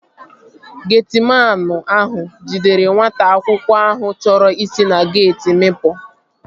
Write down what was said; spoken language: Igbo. Getiman ahụ jidere nwata akwụkwọ ahụ chọrọ isi na geeti mịpu